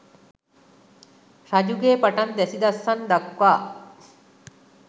රජුගේ පටන් දැසි දස්සන් දක්වා